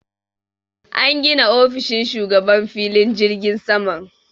An gina ofishin shugaban filin jirgin saman.